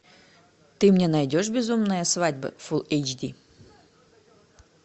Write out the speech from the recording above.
ты мне найдешь безумная свадьба фул эйч ди